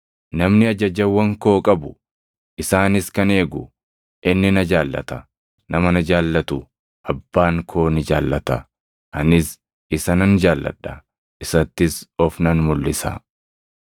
Namni ajajawwan koo qabu, isaanis kan eegu, inni na jaallata. Nama na jaallatu Abbaan koo ni jaallata; anis isa nan jaalladha; isattis of nan mulʼisa.”